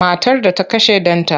Matar da ta kashe ɗanta.